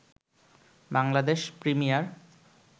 Bangladesh premier